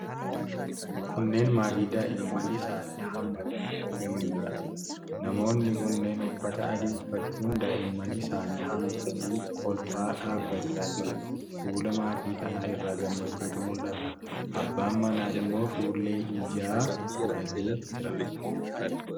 Kunneen maatii daa'imman isaanii hammatanii argamaniidha. Namoonni kunneen uffata adii uffachuun daa'imman isaan hammatanii kolfaa dhaabachaa jiru. Fuula maatii kanaa irraa gammachuutu mul'ata. Abbaan manaa immoo fuullee ijaa godhatee jira.